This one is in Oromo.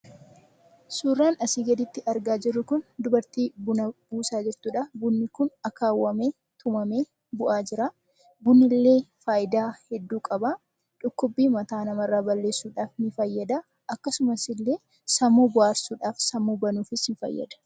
Suuraan asii gadiitti argaa jirru kun suuraa dubartii Buna buusaa jirtudha. Bunni kun akaawwamee tumamee bu'aa jira. Bunni kun illee faayidaa hedduu qaba. Dhukkubbii mataa nama irraa balleessuudhaaf ni fayyada. Akkasumas illee sammuu bohaarsuu fi sammuu banuudhaaf ni fayyada.